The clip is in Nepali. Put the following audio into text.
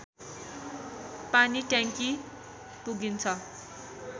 पानीट्याङ्की पुगिन्छ